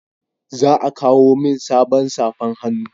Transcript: Za a kawo min sabon safan hannu